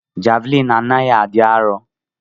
Javlin anaghi adi arọ.